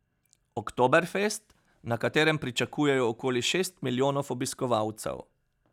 Oktoberfest, na katerem pričakujejo okoli šest milijonov obiskovalcev.